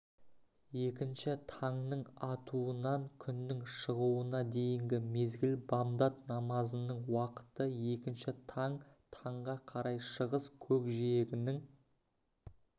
екінші таңның атуынан күннің шығуына дейінгі мезгіл бамдат намазының уақыты екінші таң таңға қарай шығыс көкжиегінің